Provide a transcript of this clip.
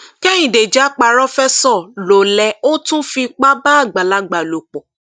kẹhìndé já párofẹsọ lọlẹ ó tún fipá bá àgbàlagbà lò pọ